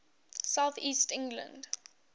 south east england